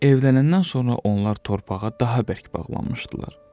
Evlənəndən sonra onlar torpağa daha bərk bağlanmışdılar.